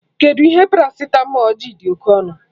Kedụ ihe paracitamọl ji dị oké ọnụ